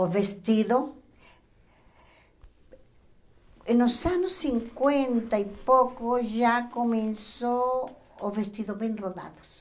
O vestido... Nos anos cinquenta e pouco já começou os vestidos bem rodados.